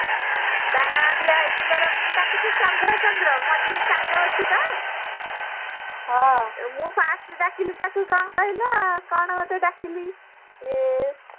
ତା ନାଁ ଦିଆ ହେଇଛି ପରା ମୁଁ ଡାକୁଛି ଚନ୍ଦ୍ର ଚନ୍ଦ୍ର ମଝିରେ ଚାନ୍ଦ ଅଛି ତ ମୁଁ first ଡାକିଲି ତାକୁ କଣ କହିଲ କଣ ଗୋଟେ ଡାକିଲି ଆଁ